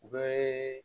U bɛ